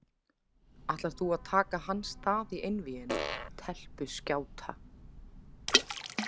Ætlar þú að taka hans stað í einvíginu, telpuskjáta?